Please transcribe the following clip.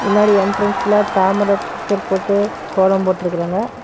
முன்னாடி என்ட்ரன்ஸ்ல தாமர பிச்சர் போட்டு கோலம் போட்டுருக்கறாங்க.